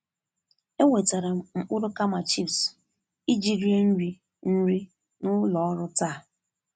E wetara m mkpụrụ kama chipsu iji rie nri nri n'ụlọ ọrụ taa.